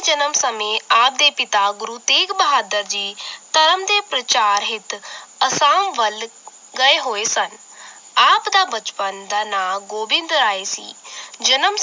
ਜਨਮ ਸਮੇਂ ਆਪ ਦੇ ਪਿਤਾ ਗੁਰੂ ਤੇਗ ਬਹਾਦਰ ਜੀ ਧਰਮ ਦੇ ਪ੍ਰਚਾਰ ਹਿੱਤ ਅਸਾਮ ਵੱਲ ਗਏ ਹੋਏ ਸਨ ਆਪ ਦਾ ਬਚਪਨ ਦਾ ਨਾਂ ਗੋਬਿੰਦ ਰਾਏ ਸੀ ਜਨਮ